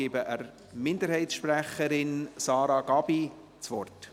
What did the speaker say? Ich gebe der Minderheitssprecherin, Sarah Gabi, das Wort.